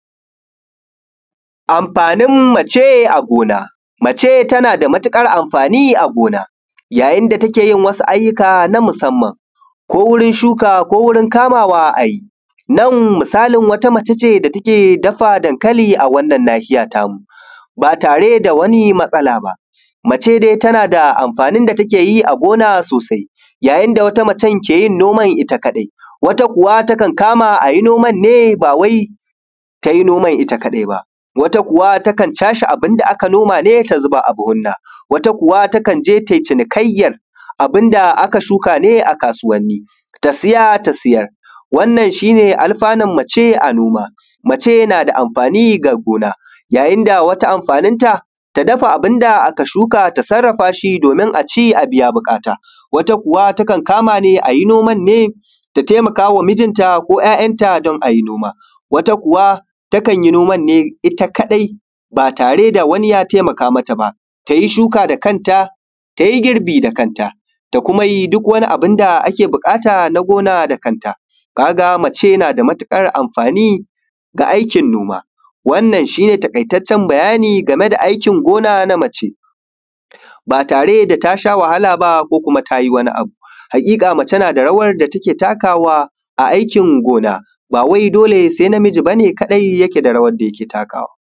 Amfanin mace a gona, mace tana da matuƙar amfani a gona yayin da take wasu ayyuka na musamman ko wurin shuka ko wurin kamawa a yi nan misalin wata mace ce da take dafa dankali a wannan nahiya tamu ba tare da wani matsala ba mace dai tana da amfani da take yi a gina sosai yayin da wata mace ke yin noma ita kadai wata kuwa kan kama a yi noman ne ba wai ta yi ita kadai ba wata kuwa takan cashe abun da aka noma ne ta zuba a buhunna wata kuwa take je ta yi cinikayyar abun da aka shuka ne a kasuwanni ta saya ta sayar wannan shi ne alfanu mace a gona. Mace na ga amfani ga gona yayin da ita amfaninta ta dafa abin da aka shuka shi domin a ci a biya buƙata. Wata kuwa takan kama ne a yi noma ne ta taimaka wa mijinta ko ya'yanta don a yi noma. Wata kuwa takan yi noma ne ita kadai ba tare da wani ya taimaka mata ba ta yi shuka da kanta ta yi girbi da kanta ta kuma duk wani abun da ake buƙata da kanta ka ga mace na da matuƙar amfani ga aikin gona da kanta ka ga mace na da matuƙar amfani ga aikin noma wannan shi ne bayani game da aikin noma na mace ba tare da ta sha wahala ba ko ta yi wani abu. Haƙiƙa mace tana rawa da take takawa a aikin gona ba wai dole sai namiji kawai ke takawa ba.